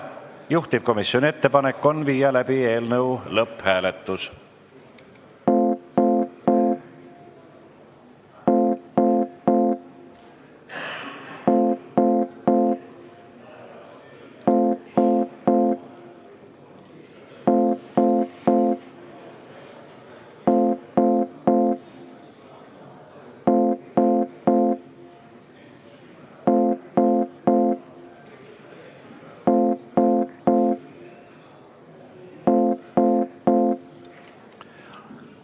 Juhtivkomisjoni ettepanek on viia läbi eelnõu lõpphääletus.